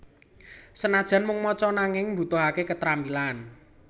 Senajan mung maca nanging mbutuhake ketrampilan